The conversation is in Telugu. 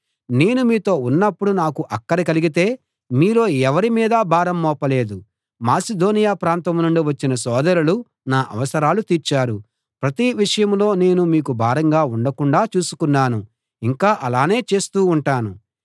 నేను మీతో ఉన్నప్పుడు నాకు అక్కర కలిగితే మీలో ఎవరి మీదా భారం మోపలేదు మాసిదోనియ ప్రాంతం నుండి వచ్చిన సోదరులు నా అవసరాలు తీర్చారు ప్రతి విషయంలో నేను మీకు భారంగా ఉండకుండాా చూసుకున్నాను ఇంకా అలానే చేస్తూ ఉంటాను